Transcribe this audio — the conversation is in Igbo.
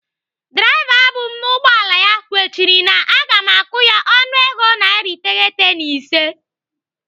Draiva bụ m n'ụgbọala ya kwechiri na aga m akwụ ya ọnụego narị iteghete na ise